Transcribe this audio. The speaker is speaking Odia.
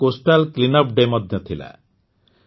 ଏହି ଦିନ କୋଷ୍ଟାଲ୍ କ୍ଲିନ୍ଅପ୍ ଡେ ମଧ୍ୟ ଥିଲା